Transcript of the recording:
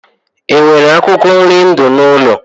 E nwere akwụkwọ nri ndụ n'ụlọ?